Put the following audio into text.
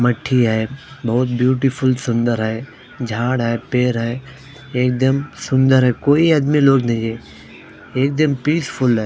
मट्ठी है बहोत ब्यूटीफुल सुंदर है झाड़ है पेड़ है एक दम सुंदर है कोई आदमी लोड नही है एक दम पिस फुल है।